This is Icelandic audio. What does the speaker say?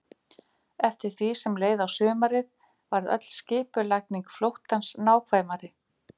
Eftir því sem leið á sumarið varð öll skipulagning flóttans nákvæmari.